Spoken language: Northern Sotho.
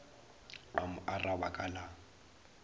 a mo araba ka la